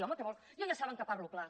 home què vol jo ja saben que parlo clar